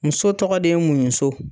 Muso tɔgɔ ye muɲu so